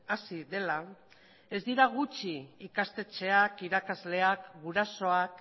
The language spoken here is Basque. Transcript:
hasi dela ez dira gutxi ikastetxeak irakasleak gurasoak